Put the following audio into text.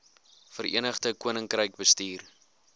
verenigde koninkryk bestuur